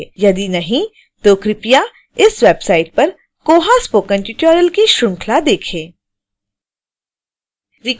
यदि नहीं तो कृपया इस website पर koha spoken tutorial की श्रृंखला देखें